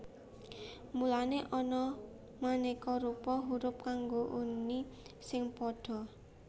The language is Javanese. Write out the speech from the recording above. Mulané ana manéka rupa hurup kanggo uni sing padha